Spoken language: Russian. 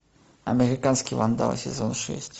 американский вандал сезон шесть